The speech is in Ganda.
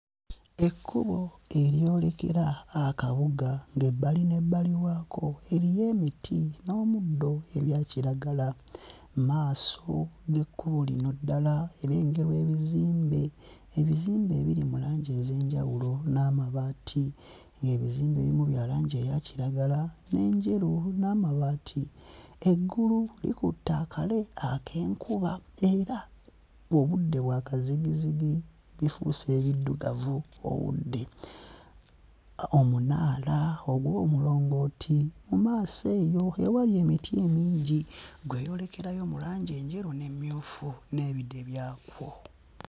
Ekkubo eryolekera akabuga ng'ebbali n'ebbali waako eriyo emiti n'omuddo ebya kiragala. Mu maaso g'ekkubo lino ddala erengerwa ebizimbe, ebizimbe ebiri mu langi ez'enjawulo n'amabaati, ng'ebizimbe ebimu bya langi eya kiragala n'enjeru n'amabaati. Eggulu likutte akale ak'enkuba era obudde bwa kazigizigi, lifuuse eriddugavu obudde. Omunaala ogw'omulongooti mu maaso eyo ewali emiti emingi gweyolekerayo mu langi enjeru n'emmyufu n'ebide byakwo.